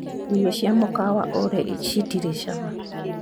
Irio cia mũkawa ũrĩa citirĩ cama.